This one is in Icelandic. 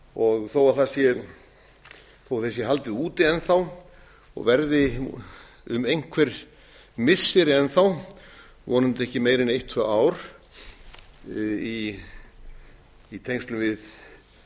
og þó því sé haldið úti enn þá og verði um einhver missiri enn þá vonandi ekki meira en eitt tvö ár í tengslum við